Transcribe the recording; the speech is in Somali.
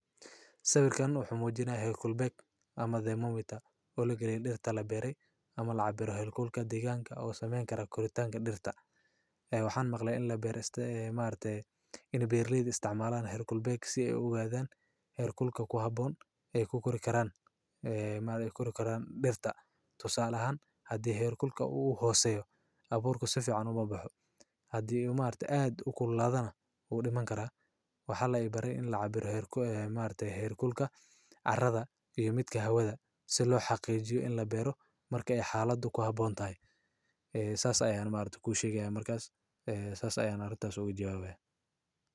Sawirkan muxu muujinayaa heerkul beeg ama demo mita oo lagaliyo dhirta la beeray ama lacag biro heerkulka deegaanka ah oo sameyn kara kordhaan dhirta, ee waxaan maqlayn in la beeristo ee maarta in biir liid istcmaalaan heerkul beeg si ay ugaadaan heerkulka ku habboon ee kuu kori karaan, ee maal ku kori karaan dhirta. Tusaale ahaan haddii heerkulku uu u hooseeyo abuurku sofi canuma baxo hadii maanta aad u kula hadana uu dhiman karaa. Waxaa la ibaray in la cabiro heer maarta, heer kulka, carrada iyo mid ka hawada si loo xaqiijiyo in la berin marka xaaladu ku habboon tahay. Saas ayeeyaan maal ku sheegaya marka saas ayeeyaan ugu jawaabay.